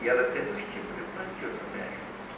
E ela tem dois tipos de plantio também, a juta.